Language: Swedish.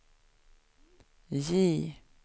J